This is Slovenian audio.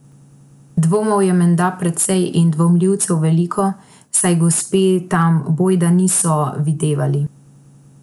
Dvomov je menda precej in dvomljivcev veliko, saj gospe tam bojda niso videvali.